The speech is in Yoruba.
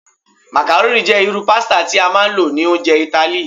Macaroni jẹ iru pasita ti a maa n lo ni ounjẹ Itali